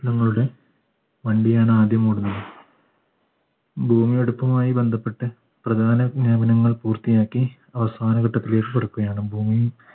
ഞങ്ങളുടെ വണ്ടിയാണ് ആദ്യം ഓടുന്നത് ഭൂമിയെടുത്തുമായി ബന്ധപ്പെട്ട് പ്രധാന വിജ്ഞാപനങ്ങൾ പൂർത്തിയാക്കി അവസാനഘട്ടത്തിലേക്ക് ഭൂമി